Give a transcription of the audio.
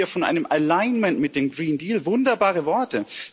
Wir reden hier von einem Alignment mit dem Grünen Deal wunderbare Worte!